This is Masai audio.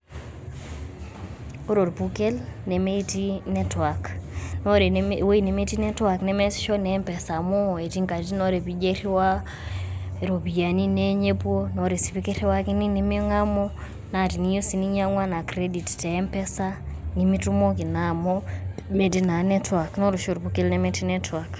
Ore orpukel nemetii network, naa ore ewuei nemetii network nemeasisho naa empesa amu eti nkataitin nijo airiwaa iropiani neeny epuo naa ore sii pee kiriwakini neming'amu, naa teniyeu sii ninyang'u anaa credit te empesa nemitumoki naa amu metii network. Naa ore oshi orpukel nemetii network.